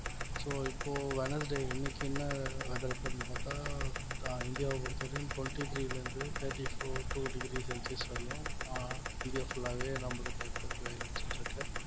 so இப்போ Wednesday இன்னைக்கு என்ன weather report ன்னு பாத்தா ஆஹ் தா~ இந்தியாவ பொறுத்தவரைக்கும் twenty-three ல இருந்து thirty-four two degree celsius வரையும் ஆஹ் இந்தியா full ஆவே நம்மளுக்கு இப்போதைக்கு வெயிலடிச்சிட்டு இருக்கு